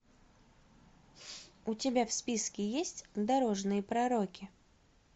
у тебя в списке есть дорожные пророки